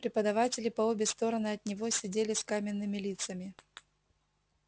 преподаватели по обе стороны от него сидели с каменными лицами